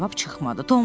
Cavab çıxmadı.